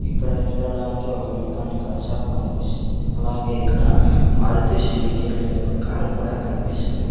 ఇక్కడ చూడడానికి ఒక మెకానికల్ షాప్ కనిపిస్తుంది అలాగే ఇక్కడ మారుతి సుజుకి అనే కార్ కూడా కనిపిస్తుంది.